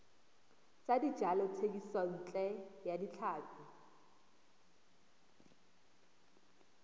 tsa dijalo thekisontle ya tlhapi